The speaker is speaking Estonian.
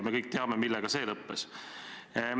Me kõik teame, millega see lõppes.